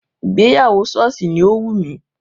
Ìgbéyàwó sọ́ọ̀sì ni ó wù mí